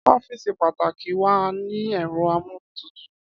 Ọ́fíìsì pàtàkì wà ní ẹ̀rọ amúlétutù.